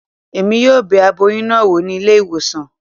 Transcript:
Emi yóò bẹ aboyún náà wò ní ilé ìwòsàn